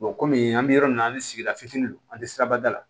kɔmi an bɛ yɔrɔ min na an ni sigida fitini an tɛ sirabada la